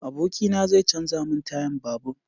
Abokina zai canja mun tayan babur